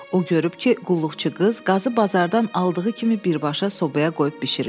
O görüb ki, qulluqçu qız qazı bazardan aldığı kimi birbaşa sobaya qoyub bişirir.